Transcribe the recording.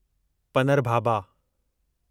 पनरभाबा